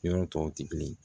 Yɔrɔ tɔw tɛ kelen ye